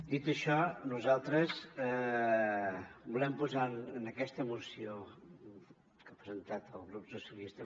dit això nosaltres volem posar en aquesta moció que ha presentat el grup socialista